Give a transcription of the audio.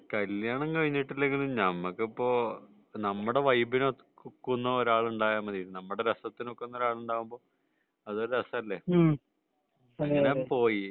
കല്യാണം കഴിഞ്ഞിട്ടില്ലെങ്കിലും നമ്മക്ക് ഇപ്പൊ നമ്മളെ വൈബിന് നോക്കുന്ന ഒരാൾ ഉണ്ടയാൽ മതി . നമ്മളെ രസത്തിനോക്കുന്ന ഒരാളുണ്ടാവുമ്പോൾ അതൊരു രസാല്ലേ അങ്ങനെ പോയി